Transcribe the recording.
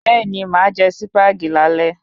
Bẹ́ẹ̀ni, máà jé Sípàgì lálé